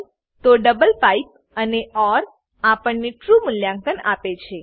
હોય તો double pipe અને ઓર આપણને ટ્રૂ મૂલ્યાંકન આપે છે